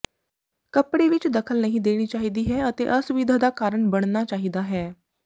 ਕੱਪੜੇ ਵਿੱਚ ਦਖਲ ਨਹੀਂ ਦੇਣੀ ਚਾਹੀਦੀ ਹੈ ਅਤੇ ਅਸੁਵਿਧਾ ਦਾ ਕਾਰਨ ਬਣਨਾ ਚਾਹੀਦਾ ਹੈ